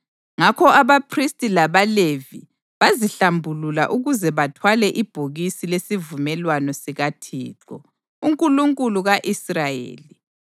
Ngakho abaphristi labaLevi bazihlambulula ukuze bathwale ibhokisi lesivumelwano sikaThixo, uNkulunkulu ka-Israyeli.